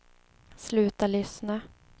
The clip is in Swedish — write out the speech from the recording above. sluta lyssna